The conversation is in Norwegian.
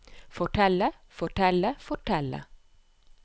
fortelle fortelle fortelle